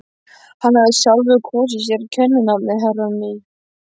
Hann hafði sjálfur kosið sér kenninafnið Herrann í